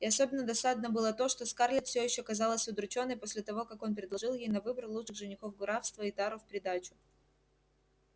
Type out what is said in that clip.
и особенно досадно было то что скарлетт все ещё казалась удручённой после того как он предложил ей на выбор лучших женихов графства и тару в придачу